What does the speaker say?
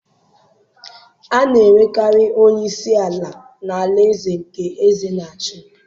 a na-enwekarị onye isi ala n’alaeze nke eze na-achị.